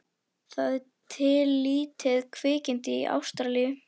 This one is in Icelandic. Það er til lítið kvikindi í Ástralíu.